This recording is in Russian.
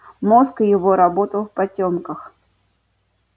мозг его работал в потёмках